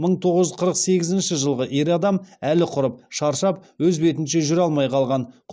мың тоғыз жүз қырық сегізінші жылғы ер адам әлі құрып шаршап өз бетінше жүре алмай қалған